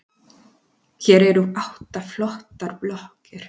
Hér eru átta flottar blokkir.